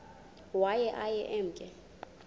waye aye emke